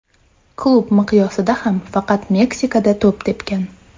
Klub miqyosida ham faqat Meksikada to‘p tepgan.